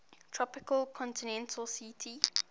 tropical continental ct